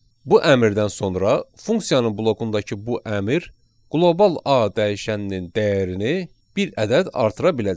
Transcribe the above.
Bu əmrdən sonra funksiyanın blokundakı bu əmr qlobal A dəyişəninin dəyərini bir ədəd artıra biləcək.